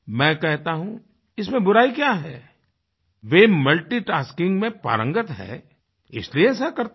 मैं कहता हूँ इसमें बुराई क्या है वे मल्टीटास्किंग में पारंगत हैं इसलिए ऐसा करते हैं